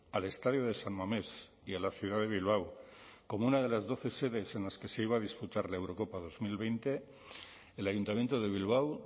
al estadio de san mamés y a la ciudad de bilbao como una de las doce sedes en las que se iba a disputar la eurocopa dos mil veinte el ayuntamiento de bilbao